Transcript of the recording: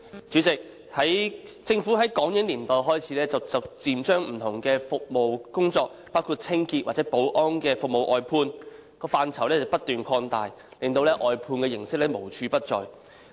主席，政府自港英年代開始逐漸將不同的工作，包括清潔或保安服務外判，範疇不斷擴大，令外判形式無處不在。